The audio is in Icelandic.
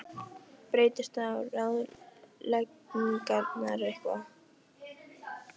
Breytast þá ráðleggingarnar eitthvað?